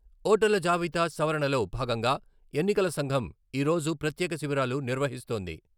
ఓటర్ల జాబితా సవరణలో భాగంగా ఎన్నికల సంఘం ఈ రోజు ప్రత్యేక శిబిరాలు నిర్వహిస్తోంది.